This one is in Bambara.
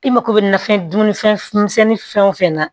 I mako bɛ nafɛn dunfɛn misɛnnin fɛn o fɛn na